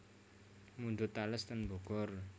Mundhut tales ten Bogor